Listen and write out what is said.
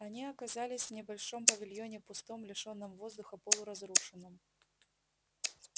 они оказались в небольшом павильоне пустом лишённом воздуха полуразрушенном